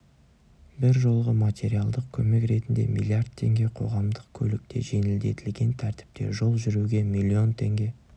бір жолғы материалдық көмек ретінде миллиард теңге қоғамдық көлікте жеңілдетілген тәртіпте жол жүруге миллион теңге